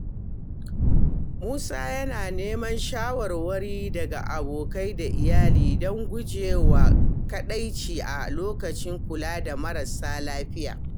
Musa yana neman shawarwari daga abokai da iyali don guje wa kadaici a lokacin kula da marasa lafiya.